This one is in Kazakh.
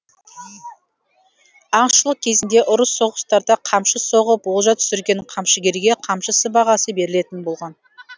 аңшылық кезінде ұрыс соғыстарда қамшы соғып олжа түсірген камшыгерге қамшы сыбағасы берілетін болған